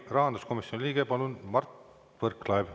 Rahanduskomisjoni liige Mart Võrklaev, palun!